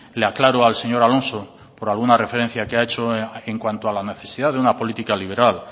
le aclaro al señor alonso por alguna referencia que ha hecho en cuanto a la necesidad de una política liberal